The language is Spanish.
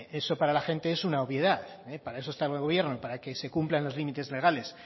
eso para la gente es una obviedad para eso está el gobierno para que se cumplan los límites legales